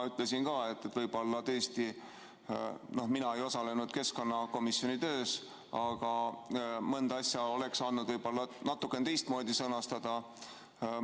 No mina ei osalenud keskkonnakomisjoni töös, aga mõnda asja oleks andnud võib-olla natukene teistmoodi sõnastada.